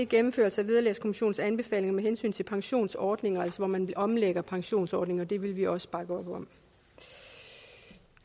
gennemførelse af vederlagskommissionens anbefalinger med hensyn til pensionsordninger altså hvor man omlægger pensionsordningen og det vil vi også bakke op om